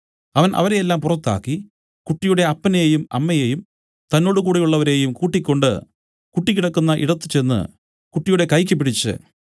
അവൻ അവരെല്ലാവരെയും പുറത്താക്കി കുട്ടിയുടെ അപ്പനെയും അമ്മയെയും തന്നോടുകൂടെയുള്ളവരെയും കൂട്ടിക്കൊണ്ട് കുട്ടി കിടക്കുന്ന ഇടത്തുചെന്ന് കുട്ടിയുടെ കൈയ്ക്ക് പിടിച്ച്